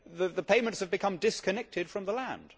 The payments have become disconnected from the land.